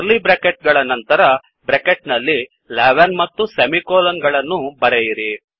curly bracket ಗಳ ನಂತರ bracket ನಲ್ಲಿ11 ಮತ್ತು ಸೆಮಿಕೋಲನ್ ಗಳನ್ನು ಬರೆಯಿರಿ